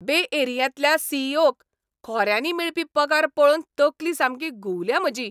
बे एरियांतल्या C. E. ओ.क खोऱ्यांनी मेळपी पगार पळोवन तकली सामकी घुंवल्या म्हजी.